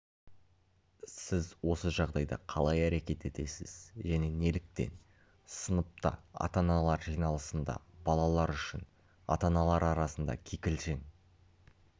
сіз осы жағдайда қалай әрекет етесіз және неліктен сыныпта ата-аналар жиналысында балалар үшін ата-аналар арасында кикілжің